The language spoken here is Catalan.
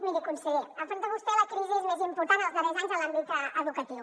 miri conseller afronta vostè la crisi més important dels darrers anys en l’àmbit educatiu